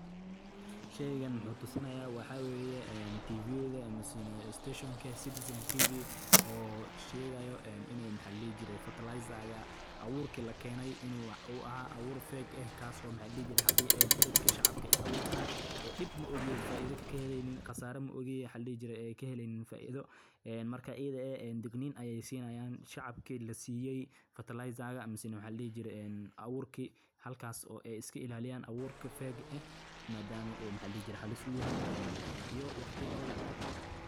Bacriminta been abuurka ah waa mid ka mid ah dhibaatooyinka ugu waaweyn ee ka jira beeralayda kenya, taasoo si weyn u waxyeeleysa dalagga iyo deegaanka labadaba; bacriminta noocan ah waxay ka kooban tahay walxo aan tayadoodu fiicanayn, mararka qaarna waa kuwo halis caafimaad leh, sida kiimikooyin qaldan ama sun ah oo aan oggolaansho laga helin hay’adaha khuseeya.